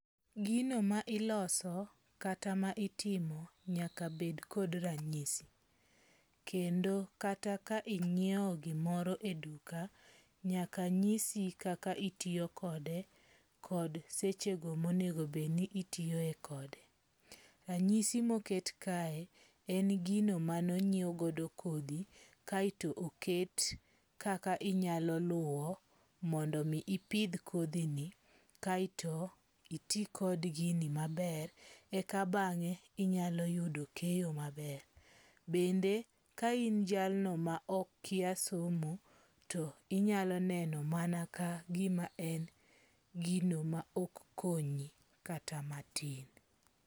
Gino ma iloso kata ma itimo nyaka bed kod ranyisi. Kendo kata ka inyiewo gimoro e duka, nyaka nyisi kaka itiyokode kod sechego monegobedni itiyoe kode. Ranyisi moket kae en gino manonyiew godo kodhi kaeto oket kaka inyalo luwo mondo mi ipidh kodhini kaeto iti kod gini maber. Eka bange, inyalo yudo keyo maber. Bende, kain jalno ma okia somo to inyalo neno ma kagima en gino ma ok konyi kata matin.